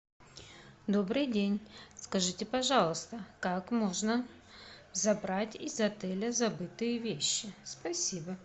добрый день скажите пожалуйста как можно забрать из отеля забытые вещи спасибо